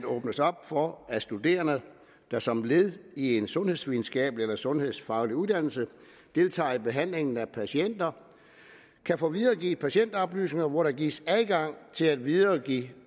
åbnes op for at studerende der som led i en sundhedsvidenskabelig eller sundhedsfaglig uddannelse deltager i behandlingen af patienter kan få videregivet patientoplysninger hvor der gives adgang til at videregive